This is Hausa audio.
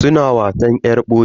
Suna wasan yar boye.